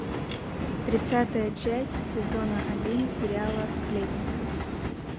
тридцатая часть сезона один сериала сплетница